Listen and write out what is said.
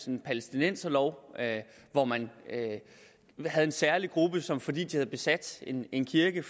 en palæstinenserlov hvor man havde en særlig gruppe som fordi de havde besat en en kirke